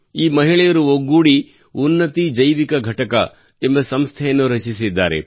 ಈ ಮಹಿಳೆಯರು ಒಗ್ಗೂಡಿ ಉನ್ನತಿ ಜೈವಿಕ ಘಟಕ ಎಂಬ ಸಂಸ್ಥೆಯನ್ನು ರಚಿಸಿದ್ದಾರೆ